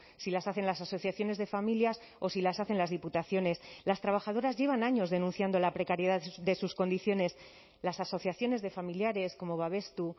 si las hacen las asociaciones de familias o si las hacen las diputaciones las trabajadoras llevan años denunciando la precariedad de sus condiciones las asociaciones de familiares como babestu